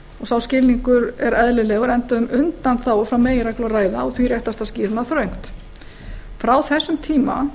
sá skilningur er eðlilegur enda um undanþágu frá meginreglu að ræða og því réttast að skýra hana þröngt frá þessum tíma